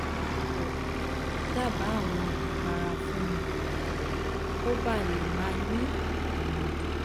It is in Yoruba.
jowo daba awon ipara fun mi koba le ma ni ilodi